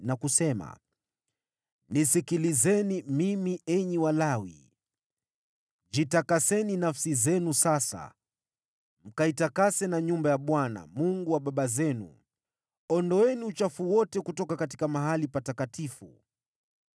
na kusema: “Nisikilizeni mimi, enyi Walawi! Jitakaseni nafsi zenu sasa, mkaitakase na nyumba ya Bwana , Mungu wa baba zenu. Ondoeni uchafu wote kutoka mahali patakatifu.